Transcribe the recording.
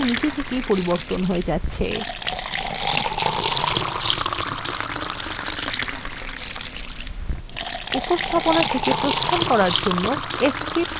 দেখুন স্লাইডগুলি নিজে থেকেই পরিবর্তন হয়ে যাচ্ছে